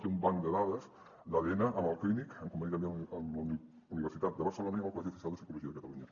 té un banc de dades d’adn amb el clínic en conveni també amb la universitat de barcelona i amb el col·legi oficial de psicologia de catalunya